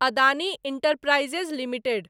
Adani enterprises limited